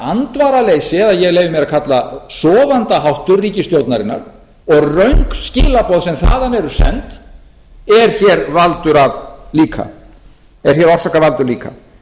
andvaraleysi eða ég leyfi mér að kalla sofandaháttur ríkisstjórnarinnar og röng skilaboð sem þaðan eru send er orsakavaldur líka